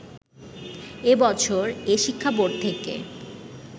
এ বছর এ শিক্ষা বোর্ড থেকে